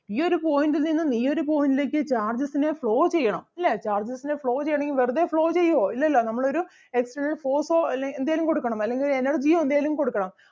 ഈ ഒരു point ൽ നിന്നും ഈ ഒരു point ലേക്ക് charges ന് flow ചെയ്യണം ല്ലേ charges ന് flow ചെയ്യണെങ്കിൽ വെറുതേ flow ചെയ്യുവോ ഇല്ലല്ലോ നമ്മൾ ഒരു external force ഓ അല്ലെങ്കിൽ എന്തേലും കൊടുക്കണം അല്ലെങ്കിൽ ഒരു energy ഓ എന്തേലും കൊടുക്കണം.